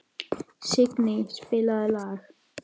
Signý, spilaðu lag.